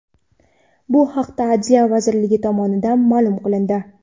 Bu haqda Adliya vazirligi tomonidan ma’lum qilindi .